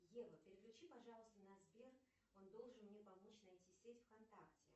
ева переключи пожалуйста на сбер он должен мне помочь найти сеть вконтакте